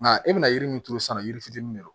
Nka e bɛna yiri min turu sisan yiri fitinin de don